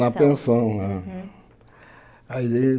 Na pensão, né. Ali